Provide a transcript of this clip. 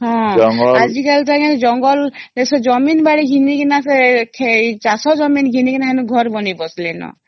ହଁ ଆଜି କଲି ତ ଆଂଜ୍ଞା ଜଙ୍ଗଲ ସେ ଜାମିନ ବାଡ଼ି ଘିନି କିନା ସେ ଚାଷ ଜମି ଘିନି କିନା ସେ ଘର ବନେଇ ବସିଲେନ